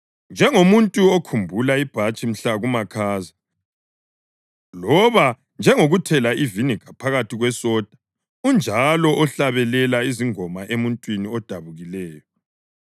Njengomuntu okhumula ibhatshi mhla kumakhaza, loba njengokuthela iviniga phakathi kwesoda unjalo ohlabelela izingoma emuntwini odabukileyo.